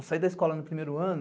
Eu saí da escola no primeiro ano,